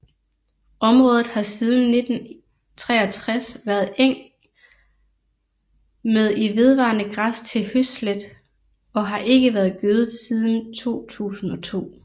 Området har siden 1963 været eng med i vedvarende græs til høslæt og har ikke været gødet siden 2002